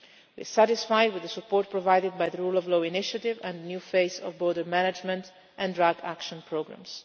May. We are satisfied with the support provided by the rule of law initiative and the new face of border management and drug action programmes.